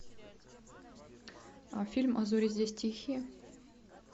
фильм а зори здесь тихие